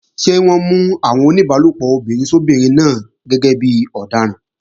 Ṣé wọ́n mú àwọn oníbálòpọ̀ obìnrin sóbinrin náà gẹ́gẹ́ bí ọ̀daràn?